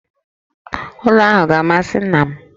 Ụlọ ahụ ga-amasị nna m